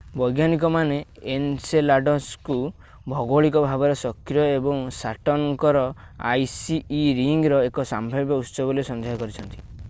ବୈଜ୍ଞାନିକମାନେ ଏନସେଲାଡସ୍ଙ୍କୁ ଭୌଗୋଳିକ ଭାବରେ ସକ୍ରିୟ ଏବଂ ସାଟର୍ନଙ୍କ ର ଆଇସି ଇ ରିଙ୍ଗର ଏକ ସମ୍ଭାବ୍ୟ ଉତ୍ସ ବୋଲି ସନ୍ଦେହ କରିଛନ୍ତି